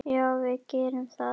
Já, við gerum það.